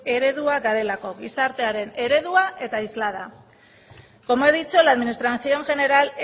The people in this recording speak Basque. eredua garelako gizartearen eredua eta islada como he dicho la administración general